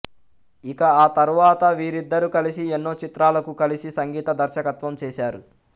ఇక ఆ తరువాత వీరిద్దరు కలిసి ఎన్నో చిత్రాలకు కలిసి సంగీత దర్శకత్వం చేశారు